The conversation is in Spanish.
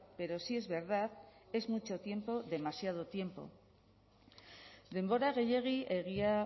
pero sí es verdad es mucho tiempo demasiado tiempo denbora gehiegi egia